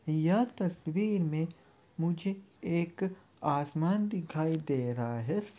यह तस्वीर में मुझे एक आसमान दिखाई दे रहा है।